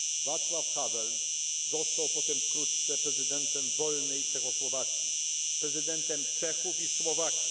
Václav Havel został potem wkrótce prezydentem wolnej Czechosłowacji, prezydentem Czechów i Słowaków.